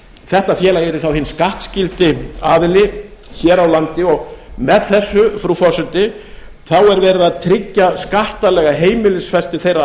þetta félag yrði þá hinn skattskyldi aðili hér á landi og með þessu frú forseti þá er verið að tryggja skattalega heimilisfestu þeirra